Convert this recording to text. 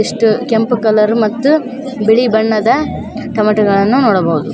ಎಷ್ಟ್ ಕೆಂಪು ಕಲರ್ ಮತ್ ಬಿಳಿ ಬಣ್ಣದ ಟಮಟೋ ಗಳನ್ನು ನೋಡಬಹುದು.